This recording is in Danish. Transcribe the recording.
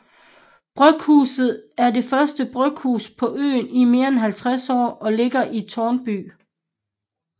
Bryghuset er det første bryghus på øen i mere end 50 år og ligger i Tårnby